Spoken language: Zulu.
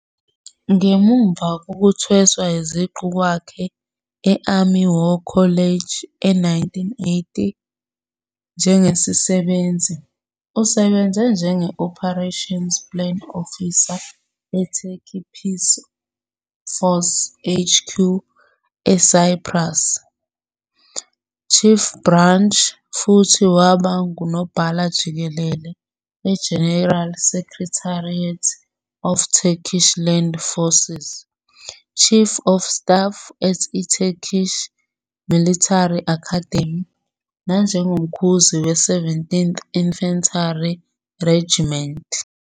Ngemuva kokuthweswa iziqu kwakhe e-Army War College e1980 njengesisebenzi, usebenze njenge-Operations Plan Officer eTurkey Peace Forces HQ eCyprus, Chief Branch futhi waba nguNobhala Jikelele e-General Secretariat of Turkish Land Forces, Chief of Staff at i-Turkish Military Academy, nanjengoMkhuzi we-17th Infantry Regiment.